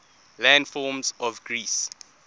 landforms of greece